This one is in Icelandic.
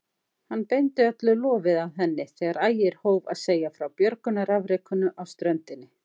Hann beindi öllu lofi að henni þegar Ægir hóf að segja frá björgunarafrekinu á ströndinni.